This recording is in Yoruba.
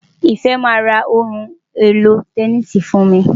Ìfẹ́ máa ra ohun èlò tẹníìsì fún mi.